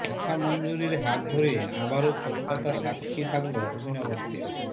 কথা মঞ্জুরির হাত ধরে আবারও কলকাতা সাক্ষী থাকল অভিনবত্বের